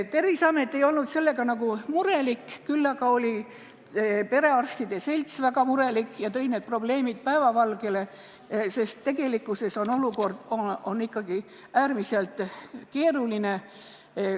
Terviseamet ei olnud selle pärast kuigi murelik, küll aga oli perearstide selts väga murelik ja tõi need probleemid päevavalgele, sest tegelikkuses on olukord ikkagi äärmiselt keeruline.